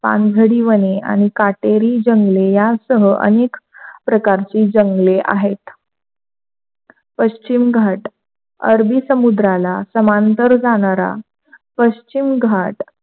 पानेरी वने आणि काटेरी चांगले यासह अनेक प्रकारचे जंगले आहेत पश्चिम घाट अरबी समुद्राला समांतर जाणारा पश्चिम घाट,